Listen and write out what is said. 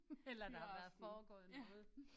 Eller der har været foregået noget